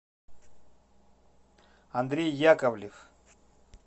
андрей яковлев